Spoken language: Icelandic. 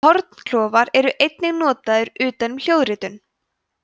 hornklofar eru einnig notaðir utan um hljóðritun